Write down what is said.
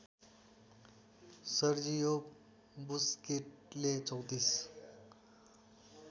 Sergio बुस्केटले ३४